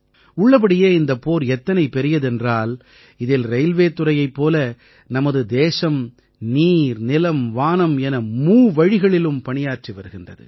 உள்ளபடியே இந்தப் போர் எத்தனை பெரியதென்றால் இதில் ரயில்வே துறையைப் போலவே நமது தேசம் நீர் நிலம் வானம் என மூவழிகளிலும் பணியாற்றி வருகிறது